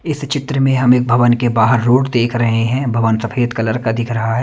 इस चित्र में हम एक भवन के बाहर रोड देख रहे हैं भवन सफेद कलर का दिख रहा ।